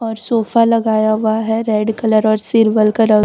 और सोफा लगाया हुआ है रेड कलर और सिल्वर कलर --